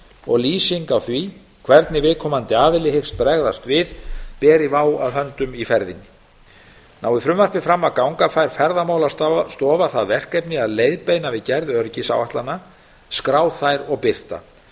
og lýsing á því hvernig viðkomandi aðili hyggst bregðast við beri vá að höndum í ferðinni nái frumvarpið fram að ganga fær ferðamálastofa það verkefni að leiðbeina við gerð öryggisáætlana skrá þær og birta